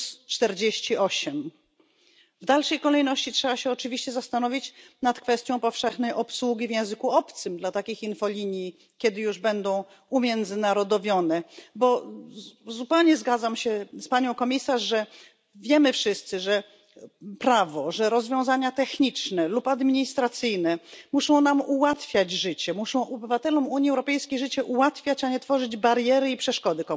48. W dalszej kolejności trzeba się oczywiście zastanowić nad kwestią powszechnej obsługi takich infolinii w języku obcym, kiedy już będą umiędzynarodowione, bo zupełnie zgadzam się z Panią Komisarz, że jak wiemy wszyscy prawo, rozwiązania techniczne lub administracyjne muszą nam ułatwiać życie, muszą obywatelom Unii Europejskiej życie ułatwiać, a nie tworzyć bariery i przeszkody